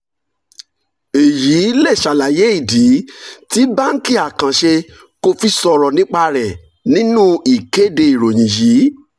èyí lè ṣàlàyé ìdí tí báńkì àkànṣe kò fi sọ̀rọ̀ nípa rẹ̀ nínú ìkéde ìròyìn yìí.